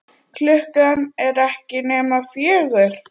Klukkan er ekki nema fjögur.